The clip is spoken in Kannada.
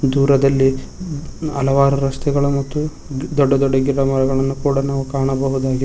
ದೂರದಲ್ಲಿ ಹಲವಾರು ರಸ್ತೆಗಳು ಮತ್ತು ದೊಡ್ಡ ದೊಡ್ಡ ಗಿಡ ಮರಗಳನ್ನು ಕೂಡ ನಾವು ಕಾಣಬಹುದಾಗಿ--